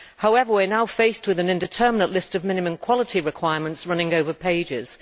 However, we are now faced with an indeterminate list of minimum quality requirements running over pages.